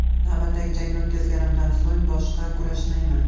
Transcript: Navbatdagi jangni o‘tkazganimdan so‘ng boshqa kurashmayman”.